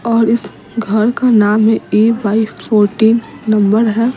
और इस घर का नाम है ऐ बाए फोर्टीन नंबर है।